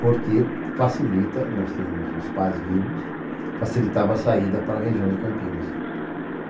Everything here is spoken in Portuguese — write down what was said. Porque facilita, nós tínhamos os pais vivos, facilitava a saída para a região de Campinas.